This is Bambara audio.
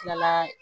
Tilala